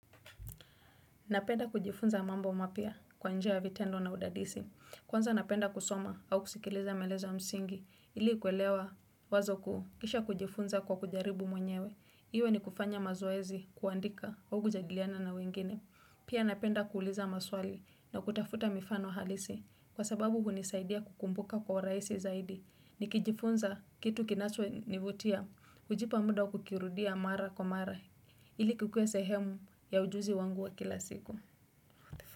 Napenda kujifunza mambo mapia kwa njia ya vitendo na udadisi. Kwanza napenda kusoma au kusikiliza maeleza msingi. Ili kuelewa wazo kuu kisha kujifunza kwa kujaribu mwenyewe. Iwe ni kufanya mazoezi kuandika au kujadiliana na wengine. Pia napenda kuuliza maswali na kutafuta mifano halisi. Kwa sababu hunisaidia kukumbuka kwa urahisi zaidi. Nikijifunza kitu kinacho nivutia. Kujipa muda kukirudia mara kwa mara. Ili kukue sehemu ya ujuzi wangu wa kila siku.